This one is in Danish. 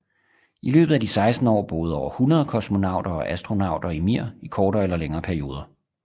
I løbet af de 16 år boede over 100 kosmonauter og astronauter i Mir i kortere eller længere perioder